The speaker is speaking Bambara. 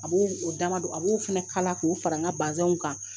A b'o damadɔ a b'o fana kala k'o fara n ka bazɛnw kan